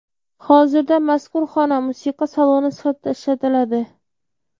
Hozirda mazkur xona musiqa saloni sifatida ishlatiladi.